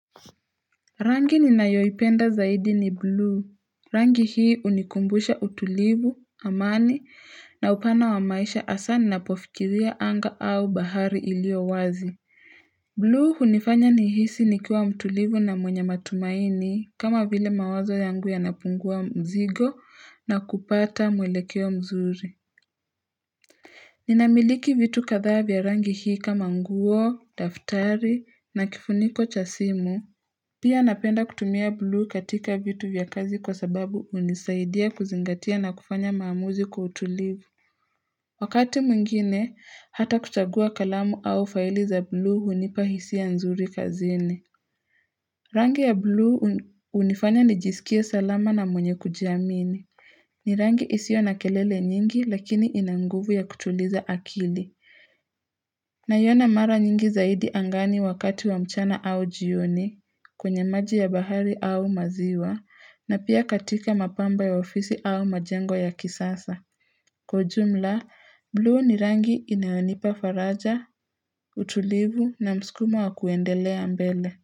Rangi ninayoipenda zaidi ni buluu, rangi hii unikumbusha utulivu, amani, na upana wa maisha hasa ninapofikiria anga au bahari ilio wazi. Blue hunifanya nihisi nikiwa mtulivu na mwenye matumaini kama vile mawazo yangu yanapungua mzigo na kupata mwelekeo mzuri. Ninamiliki vitu kadhaa vya rangi hii kama nguo, daftari na kifuniko cha simu. Pia napenda kutumia blue katika vitu vya kazi kwa sababu unisaidia kuzingatia na kufanya maamuzi kwa utulivu. Wakati mwingine, hata kuchagua kalamu au faili za blue hunipa hisia nzuri kazini. Rangi ya blue unifanya nijisikie salama na mwenye kujiamini. Ni rangi isio na kelele nyingi lakini ina nguvu ya kutuliza akili. Naiona mara nyingi zaidi angani wakati wa mchana au jioni. Kwenye maji ya bahari au maziwa na pia katika mapamba ya ofisi au majengo ya kisasa. Kwa ujumla, blue ni rangi inayonipa faraja, utulivu na msukumo wa kuendelea mbele.